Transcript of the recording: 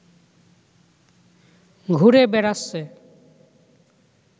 ঘুরে বেড়াচ্ছে